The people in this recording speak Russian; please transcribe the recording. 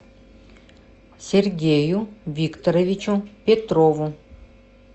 сергею викторовичу петрову